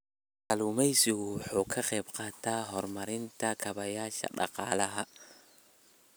Kalluumaysigu waxa uu ka qayb qaataa horumarinta kaabayaasha dhaqaalaha.